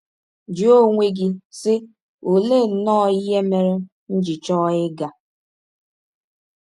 Jụọ onwe gị, sị: ‘ Ọlee nnọọ ihe mere m ji chọọ ịga?